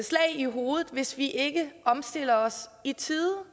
slag i hovedet hvis vi ikke omstiller os i tide